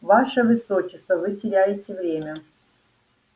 ваше высочество вы теряете время